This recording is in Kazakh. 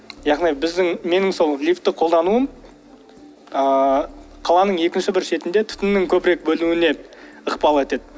яғни біздің менің сол лифтті қолдануым ыыы қаланың екінші бір шетінде түтіннің көбірек бөлінуіне ықпал етеді